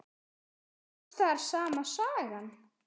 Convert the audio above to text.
Var alls staðar sama sagan?